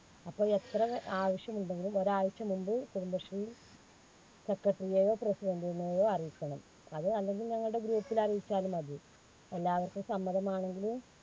അപ്പോ എത്ര ആവശ്യമുണ്ടെങ്കിലും ഒരാഴ്ച്ച മുൻപ് കുടുംബശ്രീ secretary യെയോ President നെയൊ അറിയിക്കണം. അത് അല്ലെങ്കിൽ ഞങ്ങൾടെ group ല് അറിയിച്ചാലും മതി. എല്ലാവർക്കും സമ്മതമാണെങ്കിൽ